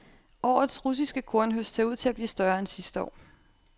Årets russiske kornhøst ser ud til at blive større end sidste år.